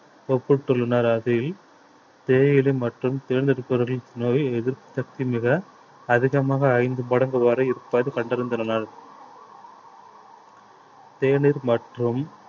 ஒப்பிட்டுள்ளனர் அதில் தேயிலை மற்றும் தேர்ந்தெடுப்பவர்களின் நோய் எதிர்ப்பு சக்தி மிக அதிகமாக ஐந்து மடங்கு வரை இருப்பது கண்டறிந்துள்ளனர் தேநீர் மற்றும்